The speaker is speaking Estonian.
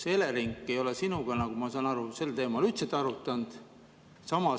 Kas Elering ei ole sinuga, nagu ma saan aru, seda teemat üldse arutanud?